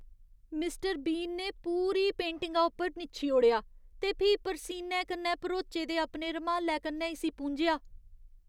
Mister Bean ने पूरी पेंटिंगा उप्पर निच्छी ओड़ेआ ते फ्ही परसीने कन्नै भरोचे दे अपने रूमालै कन्नै इस्सी पूंझेआ।